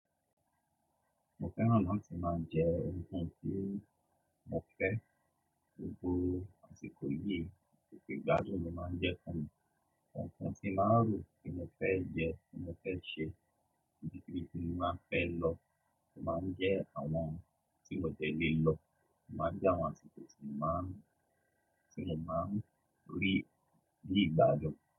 Mo fẹ́ran lati tí màá jẹ, nkan tí mo fẹ́, gbogbo àṣìkò yìí títí ìgbàdun lo máa jẹ fún mi. Nkan tí n aàá rò pe mo fẹ́ jẹ, pe mo fẹ́ ṣe, ibi tí mo máa fẹ́ lọ, mo máa jẹ àwọn tí mo dẹ̀lé lọ, mo máa jẹ àwọn tí mo máà ń rí ní ìgbàjọ.